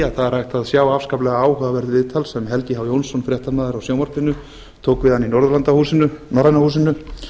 að það er hægt að sjá afskaplega áhugavert viðtal sem helgi h jónsson fréttamaður á sjónvarpinu tók við hann í norræna húsinu